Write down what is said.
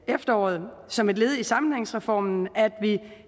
efterår som et led i sammenhængsreformen at vi